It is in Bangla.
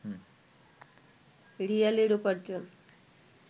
রিয়ালের উপার্জন